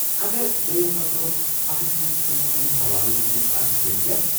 اگر دۄیو نفرو اکھ أکۍ سنٛزِ كامہِ ہُند حوالہٕ دِیٚتمُت آسہِ تیلہِ كیاہ ؟